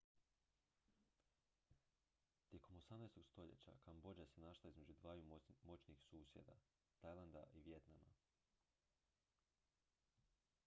tijekom 18. stoljeća kambodža se našla između dvaju moćnih susjeda tajlanda i vijetnama